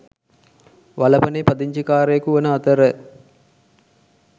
වලපනේ පදිංචිකාරයකු වන අතර